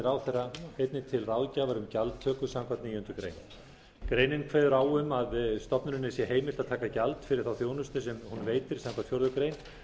ráðherra einnig til ráðgjafar um gjaldtöku samkvæmt níundu grein greinin kveður á um að stofnuninni sé heimilt að taka gjald fyrir þá þjónustu sem hún veitir samkvæmt fjórðu grein